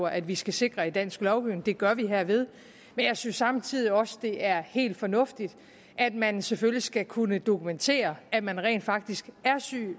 at vi skal sikre i dansk lovgivning det gør vi herved men jeg synes samtidig også at det er helt fornuftigt at man selvfølgelig skal kunne dokumentere at man rent faktisk er syg